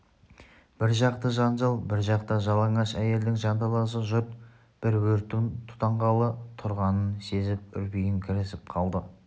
бір жақта жанжал бір жақта жалаңаш әйелдің жанталасы жұрт бір өрттің тұтанғалы тұрғанын сезіп үрпиіңкіресіп қалды